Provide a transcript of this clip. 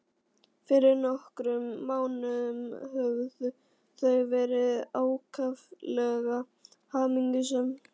Fyrir nokkrum mánuðum höfðu þau verið ákaflega hamingjusöm.